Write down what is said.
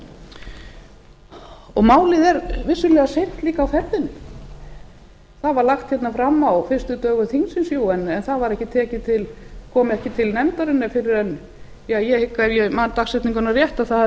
málið er vissulega líka seint á ferðinni það var lagt fram á fyrstu dögum þingsins en það kom ekki til nefndarinnar ég hygg ef ég man dagsetninguna rétt það hafi